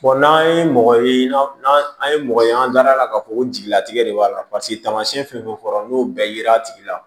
n'an ye mɔgɔ ye n'an an ye mɔgɔ ye an dara k'a fɔ ko jigilatigɛ de b'a la paseke tamasiyɛn fɛn fɛn fɔra n'o bɛɛ yera a tigi la